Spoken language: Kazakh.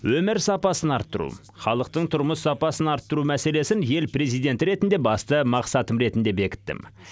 өмір сапасын арттыру халықтың тұрмыс сапасын арттыру мәселесін ел президенті ретінде басты мақсатым ретінде бекіттім